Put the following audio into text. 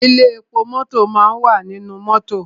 Ilé epo mọ́tọ̀ máa wà nínú mọ́tọ̀.